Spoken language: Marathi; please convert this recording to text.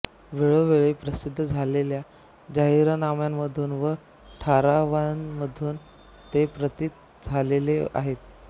वेळोवेळी प्रसिद्ध झालेल्या जाहीरनाम्यांमधून व ठरावांमधून ते प्रतित झालेले आहेत